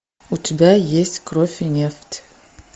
у тебя есть кровь и нефть